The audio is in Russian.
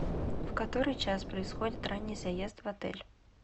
в который час происходит ранний заезд в отель